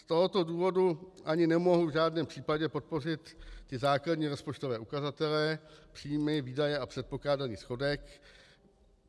Z tohoto důvodu ani nemohu v žádném případě podpořit ty základní rozpočtové ukazatele, příjmy, výdaje a předpokládaný schodek.